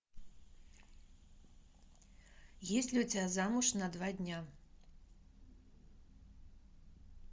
есть ли у тебя замуж на два дня